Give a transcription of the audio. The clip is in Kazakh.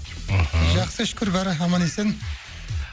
мхм жақсы шүкір бәрі аман есен